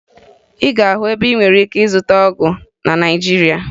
Ị ga-ahụ ebe ị nwere ike ịzụta Naịjirịa